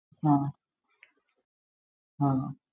ആഹ് ആഹ്